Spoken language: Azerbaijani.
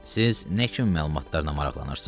Siz nə kimi məlumatlarla maraqlanırsınız?